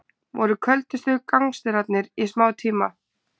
Voru köldustu gangsterarnir í smá tíma